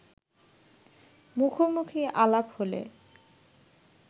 মুখোমুখি আলাপ হলে